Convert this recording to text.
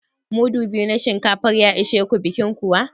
Mudu biyu na shinkafa zai ishe ku bikin kuwa?